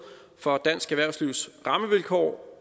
for dansk erhvervslivs rammevilkår